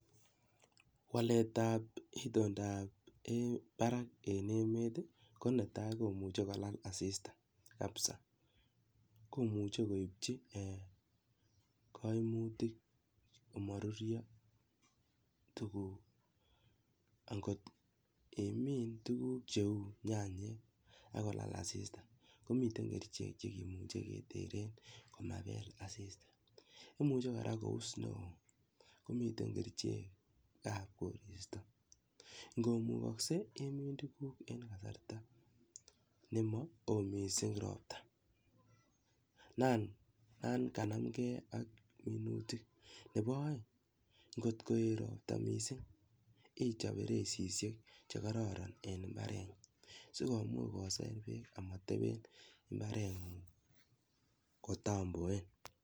Waletab itondab um barak en emet ko netai komuche kulal asista kabisa. Komuchi koibchi um kaimutik komarurio tukuk angot imin tukuk cheu nyanyak angolal asista komite kerchek che meche keteren komabel asista, imuche kora kous neoo komiten kerchekab koristo ngomukakse imin tukuk en kasrata ne ma oo mising robta. Nan kanamgei ak minutik. Nebo oeng ngotko ii robta mising ichop feresishek che kororon en mbareng'ung sikomuch kosai beek amateben mbareng'ung katamboen.